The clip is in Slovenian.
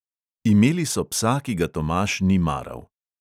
Imeli so psa, ki ga tomaž ni maral.